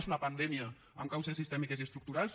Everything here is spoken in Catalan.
és una pandèmia amb causes sistèmiques i estructurals